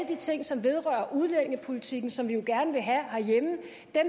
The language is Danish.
de ting som vedrører udlændingepolitikken som vi jo gerne vil have herhjemme